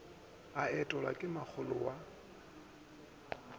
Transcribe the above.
a etelwa ke makgolo wa